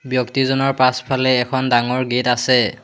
ব্যক্তিজনৰ পাছফালে এখন ডাঙৰ গেট আছে।